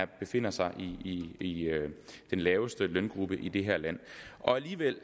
befinder sig i den laveste løngruppe i det her land alligevel